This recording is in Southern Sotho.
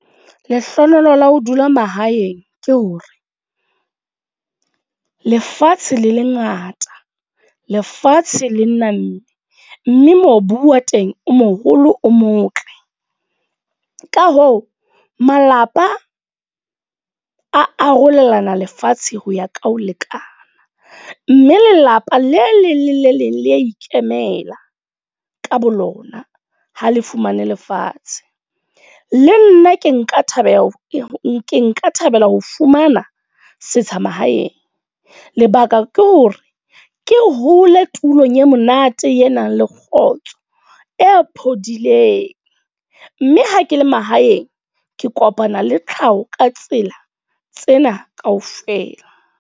Lehlohonolo la ho dula mahaeng ke hore, lefatshe le lengata. Lefatshe le namme. Mme mme mobu wa teng o moholo, o motle. Ka hoo, malapa arolelana lefatshe ho ya ka ho lekana. Mme lelapa le leng le le leng le ya ikemela ka bolona, ha le fumane lefatshe. Le nna ke nka thabela ho nka thabela ho fumana setsha mahaeng. Lebaka ke hore ke hole tulong e monate e nang le kgotso. E phodileng, mme ha ke le mahaeng. Ke kopana le tlhaho ka tsela tsena kaofela.